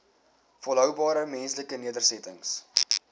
volhoubare menslike nedersettings